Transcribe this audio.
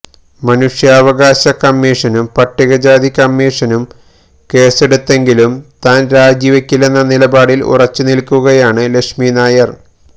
മനുഷ്യാവകാശ കമ്മീഷനും പട്ടികജാതി കമ്മീഷനും കേസെടുത്തെങ്കിലും താൻ രാജിവെക്കില്ലെന്ന നിലപാടിൽ ഉറച്ചു നിൽക്കുകയാണ് ലക്ഷ്മി നായർ